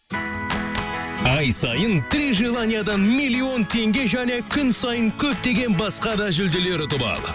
ай сайын три желаниядан миллион теңге және күн сайын көптеген басқа да жүлделер ұтып ал